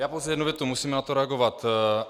Já pouze jednu větu, musím na to reagovat.